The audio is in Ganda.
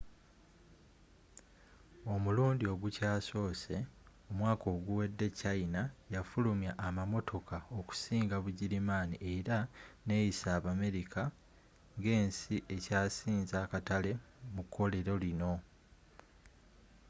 omulundi ogukyasoose omwaka oguwedde china yafulumya amamotoka okusinga bugirimaani era neyisa abamerika ngensi ekyasinze akatale mu kkolero lino